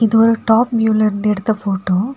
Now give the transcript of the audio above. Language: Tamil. இது ஒரு டாப் வியூல இருந்து எடுத்த போட்டோ .